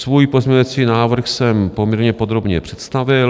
Svůj pozměňovací návrh jsem poměrně podrobně představil.